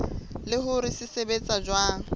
le hore se sebetsa jwang